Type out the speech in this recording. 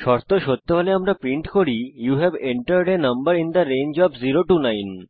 শর্ত সত্য হলে আমরা প্রিন্ট করি you have entered a number in the range of 0 9